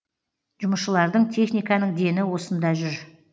жұмысшылардың техниканың дені осында жүр